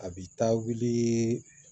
A bi taa wuli